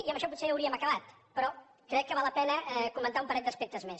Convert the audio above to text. i amb això potser hauríem acabat però crec que val la pena comentar un parell d’aspectes més